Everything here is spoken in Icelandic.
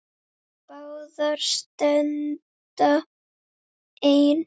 Báðar standa enn.